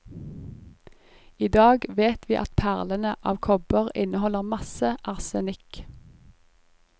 I dag vet vi at perlene av kobber inneholder masse arsenikk.